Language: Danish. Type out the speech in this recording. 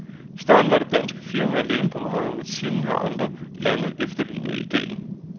I starten var det danske firma alene på markedet, men siden har flere andre lande efterlignet ideen.